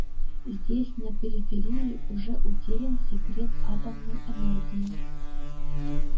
здесь на периферии уже утерян секрет атомной энергии